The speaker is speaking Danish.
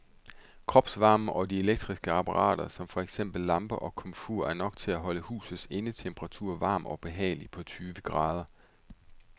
Kropsvarmen og de elektriske apparater som for eksempel lamper og komfur er nok til at holde husets indetemperatur varm og behagelig på tyve grader.